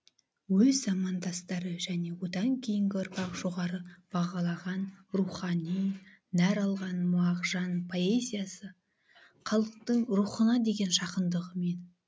өз замандастары және одан кейінгі ұрпақ жоғары бағалаған және рухани нәр алған мағжан поэзиясы халықтың рухына деген жақындығымен